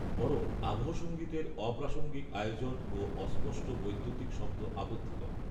বরংআবহসংগীতের অপ্রাসঙ্গিক আয়োজন ও অস্পষ্ট বৈদ্যুতিক শব্দ আপত্তিকর